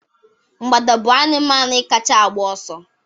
Mgbada bụ anụmanụ kacha agba ọsọ